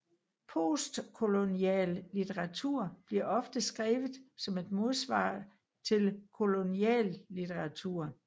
Postkolonial litteratur bliver ofte skrevet som et modsvar til kolonial litteratur